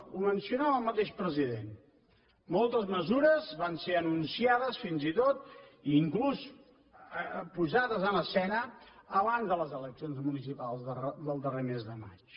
ho mencionava el mateix president moltes mesures van ser anunciades fins i tot i inclús posades en escena abans de les eleccions municipals del darrer mes de maig